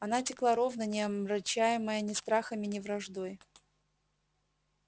она текла ровно не омрачаемая ни страхами ни враждой